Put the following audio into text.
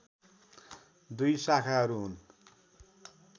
दुई शाखाहरू हुन्